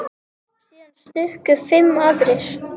Síðan stukku fimm aðrir.